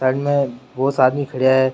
Side मे boss आदमी खड़ा है।